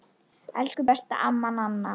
Elsku besta amma Nanna.